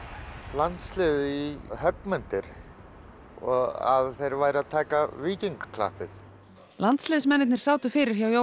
landsliðið í höggmyndir og að þeir væru að taka víkingaklappið landsliðsmennirnir sátu fyrir hjá